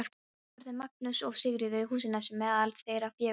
Voru þau Magnús og Sigríður í Húsanesi meðal þeirra fjögurra.